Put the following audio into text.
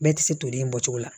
Bɛɛ tɛ se toli in bɔcogo la